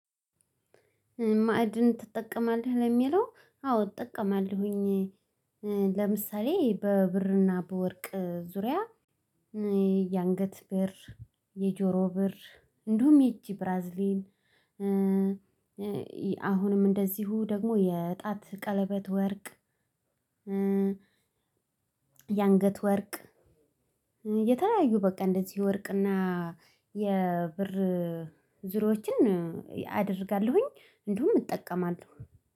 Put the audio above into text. ማዕድን ትጠቀማለህ ለሚለው አዎ እጠቀማለሁኝ ለምሳሌ በብርና በወርቅ ዙሪያ የአንገት ብር የጆሮ ብር እንዲሁም የእጂ ብራዝሌት። አሁንም እንደዚሁ ደግሞ የጣት ቀለበት ወርቅ። የአንገት ወርቅ። የተለያዩ በቃ እንደዚህ ወርቅና የብር ዙሪያዎችን አደርጋለሁኝ። እንዲሁም እጠቀማለሁ